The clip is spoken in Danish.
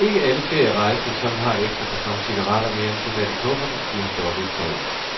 Ikke alle ferierejsende, som har et ekstra karton cigaretter mere end tilladt i kufferten, bliver stoppet i tolden.